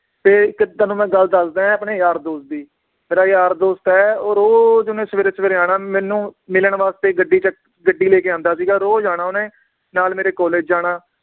ਤੇ ਇੱਕ ਤੁਹਾਨੂੰ ਮੈ ਗੱਲ ਦੱਸਦਾਂ ਏ ਆਪਣੇ ਯਾਰ ਦੋਸਤ ਦੀ, ਮੇਰਾ ਯਾਰ ਦੋਸਤ ਏ ਉਹ ਰੋਜ਼ ਓਹਨੇ ਸਵੇਰੇ ਸਵੇਰੇ ਆਉਣਾ ਮੈਨੂੰ ਮਿਲਣ ਵਾਸਤੇ ਗੱਡੀ ਚ ਗੱਡੀ ਲੈਕੇ ਆਉਂਦਾ ਸੀਗਾ ਰੋਜ਼ ਆਉਣਾ ਓਹਨੇ, ਨਾਲ ਮੇਰੇ college ਜਾਣਾ